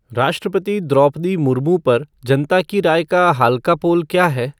राष्ट्रपति द्रौपदी मुर्मू पर जनता की राय का हाल का पोल क्या है